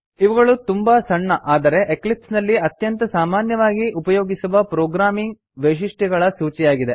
ಇವುಗಳು ತುಂಬಾ ಸಣ್ಣ ಆದರೆ ಎಕ್ಲಿಪ್ಸ್ ನಲ್ಲಿ ಅತ್ಯಂತ ಸಾಮಾನ್ಯವಾಗಿ ಉಪಯೋಗಿಸುವ ಪ್ರೊಗ್ರಾಮಿಂಗ್ ವೈಶಿಷ್ಟ್ಯಗಳ ಸೂಚಿಯಾಗಿದೆ